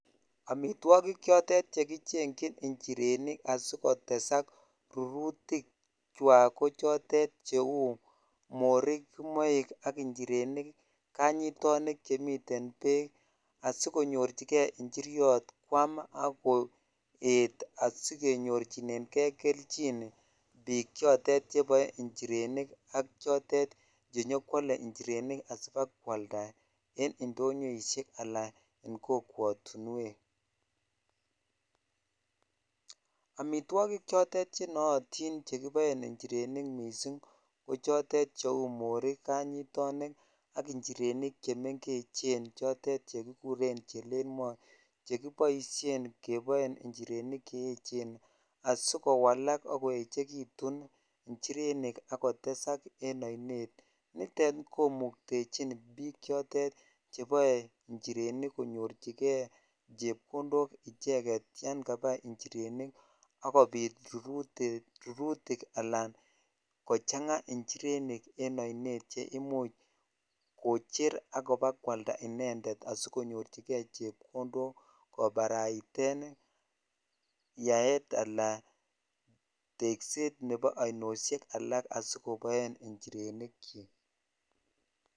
Amitwokik chotet che kichengyin njirenik asikotesak rurutikwak ko chotet cheu morik, kimoik ak njirenik, kanyitonik chemiten beek asikonyorchike njiriot kwaam ak koet asikenyorchineng'e kelchin biik chotet cheboe njirenik ak chotet chenyo kwole njirenik asibakwalda en ndonyoishek alaa en kokwotinwek, amitwokik chotet chenootin chekiboen njirenik mising ko chotet cheuu morik, kanyitonik ak nchirenik chemeng'echen chotet chekikuren chelelmo chekiboishenn keboen njirenik che echen asikowalak ak koechkitun njirenik ak kotesak en oinet, nitet komuktechin biik chotet cheboe njirenik konyorchike chepkondok icheket yoon kabai njirenik akobit rurutik alaan kochang'a nchirenik en oinet cheimuch kocher ak ibakwalda inendet asikonyorchike inendet chepkondok kobaraiten yaet alaan tekset nebo oinosiek alak asikoboen njirenikyik.